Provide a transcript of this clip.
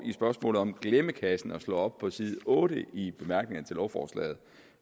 spørgsmålet om glemmekassen og slår op på side otte i bemærkningerne til lovforslaget